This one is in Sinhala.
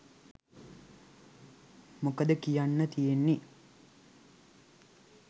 මොකද කි‍යන්න තියෙන්නේ.